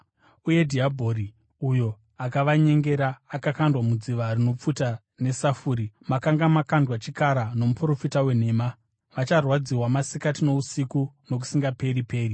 Uye dhiabhori, uyo akavanyengera, akakandwa mudziva rinopfuta nesafuri, makanga makandwa chikara nomuprofita wenhema. Vacharwadziwa masikati nousiku nokusingaperi-peri.